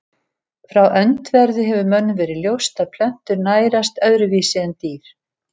Frá öndverðu hefur mönnum verið ljóst að plöntur nærast öðruvísi en dýr.